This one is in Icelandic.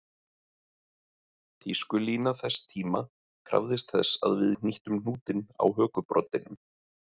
Tískulína þess tíma krafðist þess að við hnýttum hnútinn á hökubroddinum